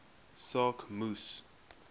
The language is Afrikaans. saak moes